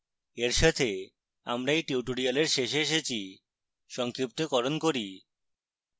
এর সাথে আমরা এই tutorial শেষে এসেছি